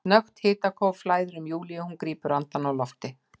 Snöggt hitakóf flæðir um Júlíu og hún grípur andann á lofti.